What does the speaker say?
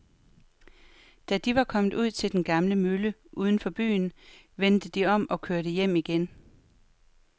Da de var kommet ud til den gamle mølle uden for byen, vendte de om og kørte hjem igen.